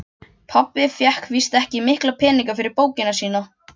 Pabbi fékk víst ekki mikla peninga fyrir bókina sína.